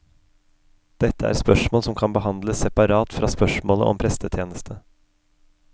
Dette er spørsmål som kan behandles separat fra spørsmålet om prestetjeneste.